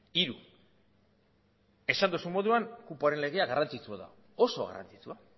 hiru esan duzun moduan kupoaren legea garrantzitsua da oso garrantzitsua